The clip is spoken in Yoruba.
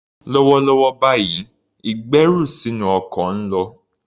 Lọ́wọ́lọ́wọ́ báyìí, ìgbẹ́rù sínú ọkọ̀ ń lọ.